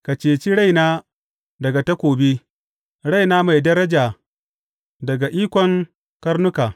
Ka ceci raina daga takobi, raina mai daraja daga ikon karnuka.